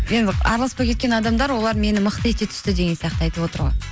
енді араласпай кеткен адамдар олар мені мықты ете түсті деген сияқты айтып отыр ғой